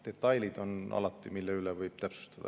Detaile võib alati täpsustada.